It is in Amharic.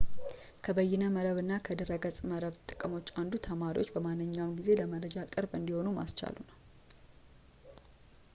ከበይነ መረብና ከድሕረ ገፅ መረብ ጥቅሞች አንዱ ተማሪዎችን በማንኛውም ጊዜ ለመረጃ ቅርብ እንዲሆኑ ማስቻሉ ነው